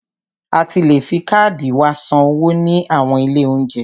A ti le fi káàdì wa san owó ní àwọn ilé óúnjẹ.